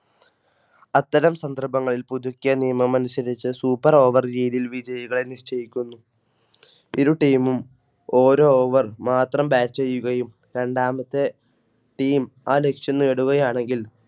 അത്തരം സന്ദർഭങ്ങളിൽ പുതുക്കിയ നിയമമനുസരിച്ച് Super over രീതിയിൽ വിജയികളെ നിശ്ചയിക്കുന്നു. ഇരു Team ഓരോ Over മാത്രം Batch ചെയ്യുകയും രണ്ടാമത്തെ Team ആ ലക്ഷ്യം നേടുകയാണെങ്കിൽ